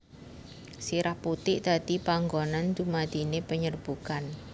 Sirah putik dadi panggonan dumadine penyerbukan